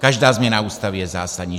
Každá změna Ústavy je zásadní.